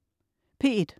P1: